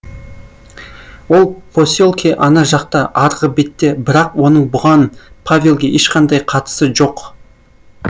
ол поселке ана жақта арғы бетте бірақ оның бұған павелге ешқандай қатысы жоқ